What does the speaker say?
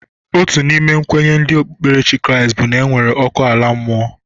Otu n'ime kwenye ndi okpukperechi Kraịst bụ na enwere ọkụ ala mmụọ.